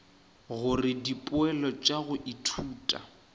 gore dipoelo tša go ithuta